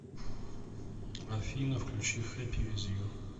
афина включи хэппи виз ю